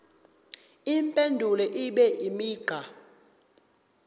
impendulo ibe imigqa